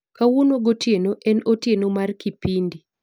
Kawuono gotieno en otieno mar kipindi